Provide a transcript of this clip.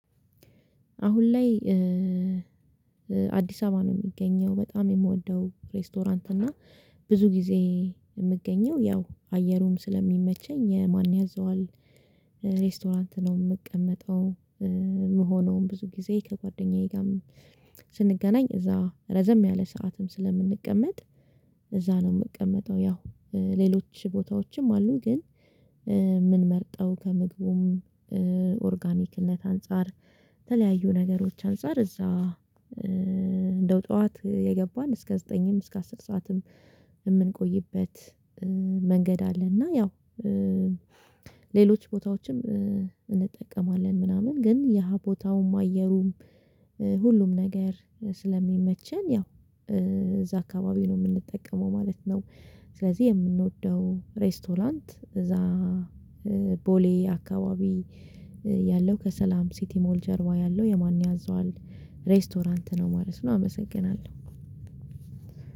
አሁን ላይ አዲስ አበባ ነው የሚገኘው በጣም የምወደው ሬስቶራንት እና ብዙ ጊዜ የምገኘው ያው አየሩም ስለሚመቸኝ የማን ያዘዋል ሬስቶራንት ነው የምቀመጠው የምሆነውም ብዙ ጊዜ ከጓደኛዬ ጋር ስንገናኝ እዛ ረዘም ያለ ሰዓትም ስለምንቀመጥ እዛ ነው የምቀመጠው። ያው ሌሎች ቦታዎችም አሉ ግን ምንመርጠው ከምግቡም ኦርጋኒክነት አንፃር የተለያዩ ነገሮች አንፃር እዛ እንደው ጠዋት የገባን እስከ ዘጠኝም እስከ አስር ሰዓትም የምንቆይበት መንገድ አለ እና ያው ሌሎች ቦታዎችም እንጠቀማለን ምናምን ግን የሃ ቦታውም አየሩም ሁሉም ነገር ስለሚመቸን ያው እዛ አካባቢ ነው የምንጠቀመው ማለት ነው። ስለዚህ የምንወደው ሬስቶራንት እዛ ቦሌ አካባቢ ያለው ከሰላም ሲቲ ሞል ጀርባ ያለው የማን ያዘዋል ሬስቶራንት ነው ማለት ነው አመሰግናለሁ።